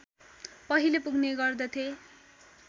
पहिले पुग्ने गर्दथे